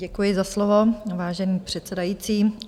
Děkuji za slovo, vážený předsedající.